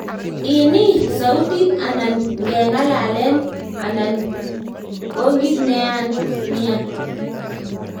Ini, sautit nanan ngengalalen ana konkit neyaan nia?